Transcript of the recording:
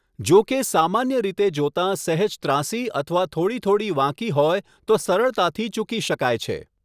જો કે, સામાન્ય રીતે જોતાં સહેજ ત્રાંસી અથવા થોડી થોડી વાંકી હોય તો સરળતાથી ચૂકી શકાય છે.